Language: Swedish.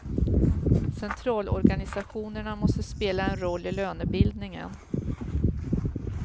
Centralorganisationerna måste spela en roll i lönebildningen.